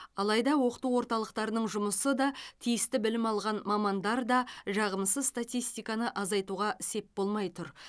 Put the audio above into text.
алайда оқыту орталықтарының жұмысы да тиісті білім алған мамандар да жағымсыз статистиканы азайтуға сеп болмай тұр